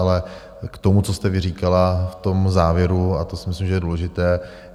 Ale k tomu, co jste říkala v tom závěru, a to si myslím, že je důležité.